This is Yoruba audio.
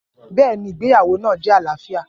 Bẹ́ẹ̀ ni, ìgbéyàwó náà jẹ́ àlàáfíà.